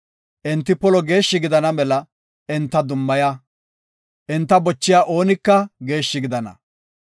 Enti polo geeshshi gidana mela enta dummaya. Enta bochiya oonika geeshshi gidana.